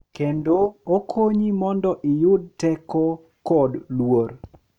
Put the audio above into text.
Kendo okonyi mondo iyud teko kod luor.